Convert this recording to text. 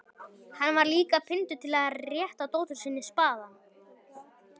Hann var líka píndur til að rétta dótturinni spaðann.